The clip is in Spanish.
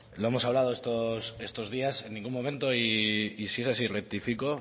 lo hemos hablado estos días en ningún momento y si es así rectifico